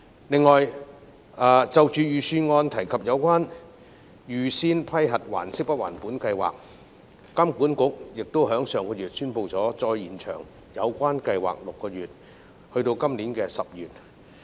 此外，就預算案提及的"預先批核還息不還本"計劃，金管局在上月宣布再延長有關計劃6個月至今年10月。